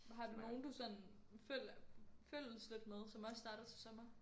Men har du nogen du sådan følges følges lidt med som også starter til sommer?